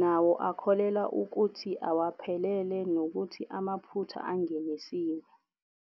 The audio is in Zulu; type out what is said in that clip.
nawo akholelwa ukuthi awaphelele nokuthi amaphutha angenisiwe.